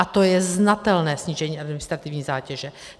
A to je znatelné snížení administrativní zátěže.